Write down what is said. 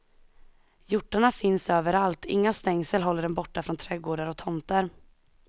Hjortarna finns överallt, inga stängsel håller dem borta från trädgårdar och tomter.